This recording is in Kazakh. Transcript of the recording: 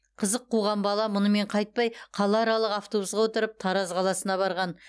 қызық қуған бала мұнымен қайтпай қалааралық автобусқа отырып тараз қаласына барған